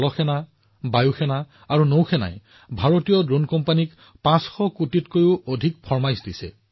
সেনা নৌ সেনা আৰু বায়ু সেনাই ভাৰতীয় ড্ৰোন কোম্পানীসমূহক ৫০০ কোটি টকাৰ অধিক মূল্যৰ অৰ্ডাৰো দিছে